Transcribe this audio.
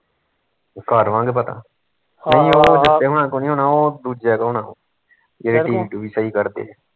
ਕਰ ਆਵਾਂਗੇ ਪਤਾ ਇਹਨਾਂ ਕੋਲ ਨੀ ਹੁਣਾ ਓਹ ਦੂਜਿਆ ਕੋਲ ਹੋਣਾ ਜਿਹੜੇ tv ਟੂਵੀ ਸਹੀ ਕਰਦੇ ਆ